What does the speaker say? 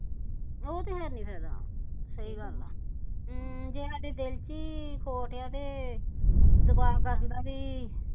ਉਹ ਤੇ ਹੈਨੀ ਫਾਇਆ ਸਹੀ ਗੱਲ ਆ ਜੇ ਹਾਡੇ ਦਿਲ ਵਿਚ ਹੀ ਖੋਟ ਆ ਤੇ ਦੁਆ ਕਰਨ ਦਾ ਬਈ